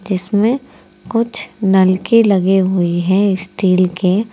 इसमें कुछ नलकी लगे हुई हैं स्टील के।